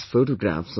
My dear countrymen,